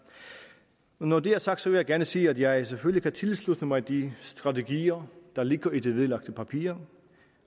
når dette er sagt vil jeg gerne sige at jeg selvfølgelig kan tilslutte mig de strategier der ligger i de vedlagte papirer